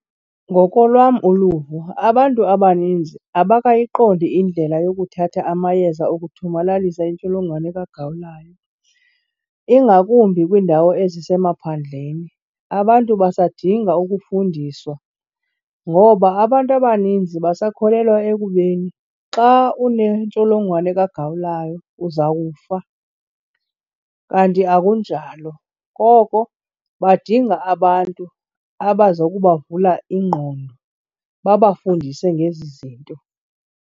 Ngokolwam uluvo abantu abaninzi abakayiqondi indlela yokuthatha amayeza okuthomalalisa intsholongwane kagawulayo, ingakumbi kwiindawo ezisemaphandleni. Abantu basadinga ukufundiswa ngoba abantu abaninzi basakholelwa ekubeni xa unentsholongwane kagawulayo uza kufa, kanti akunjalo koko badinga abantu abaza kubavula ingqondo babafundise ngezi zinto.